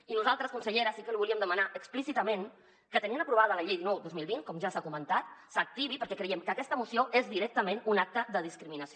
i nosaltres consellera sí que li volíem demanar explícitament que tenint aprovada la llei dinou dos mil vint com ja s’ha comentat s’activi perquè creiem que aquesta moció és directament un acte de discriminació